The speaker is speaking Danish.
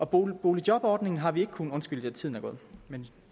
boligjobordningen har vi ikke kunnet undskyld tiden er gået men